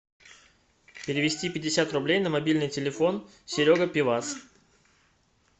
перевести пятьдесят рублей на мобильный телефон серега пивас